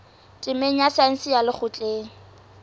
temeng ya saense ya lekgotleng